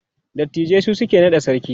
dattijai su suke naɗa sarki